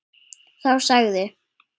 Þá sagði